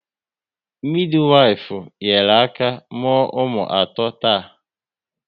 Midiwifu nyere aka mụọ ụmụ ato taa